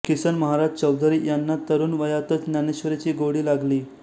किसन महाराज चौधरी यांना तरुण वयातच ज्ञानेश्वरीची गोडी लागली